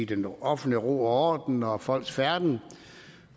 den offentlige ro og orden og folks færden